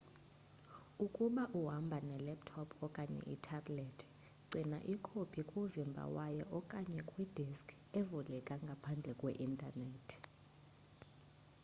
ukuba uhamba ne laptop okanye ithabhlethi gcina ikopi kuvimba wayo okanye kwi diski evuleka ngaphandle kwe intanethi